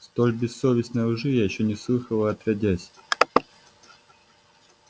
столь бессовестной лжи я ещё не слыхала отродясь